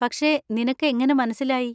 പക്ഷെ നിനക്ക് എങ്ങനെ മനസ്സിലായി?